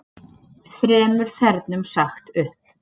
Þremur þernum sagt upp